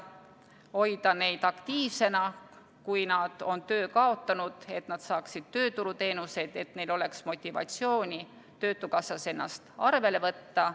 Hoida neid aktiivsena, kui nad on töö kaotanud, et nad saaksid tööturuteenuseid, et neil oleks motivatsiooni töötukassas ennast arvele võtta.